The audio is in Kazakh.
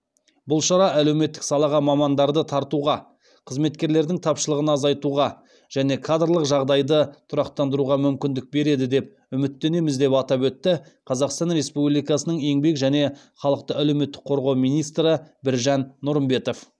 бұл шара әлеуметтік салаға мамандарды тартуға қызметкерлердің тапшылығын азайтуға және кадрлық жағдайды тұрақтандыруға мүмкіндік береді деп үміттенеміз деп атап өтті қазақстан республикасының еңбек және халықты әлеуметтік қорғау министрі біржан нұрымбетов